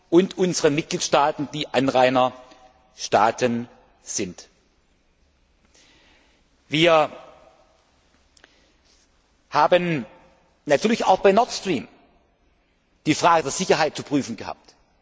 Union und unseren Mitgliedstaaten, die Anrainerstaaten sind. Wir haben natürlich auch bei Nord Stream die Frage der Sicherheit zu prüfen gehabt.